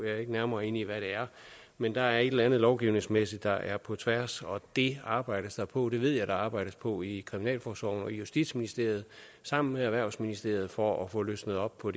er ikke nærmere inde i hvad det er men der er et eller andet lovgivningsmæssigt der er på tværs og det arbejdes der på det ved jeg at der arbejdes på i kriminalforsorgen og justitsministeriet sammen med erhvervsministeriet for at få løsnet op på